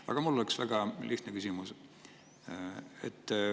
Aga mul on üks väga lihtne küsimus.